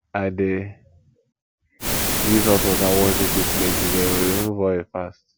i dey use hot water wash dirty plates e dey remove oil fast